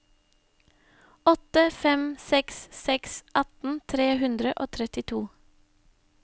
åtte fem seks seks atten tre hundre og trettito